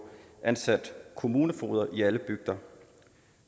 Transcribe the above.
ansat kommunefogeder i alle bygder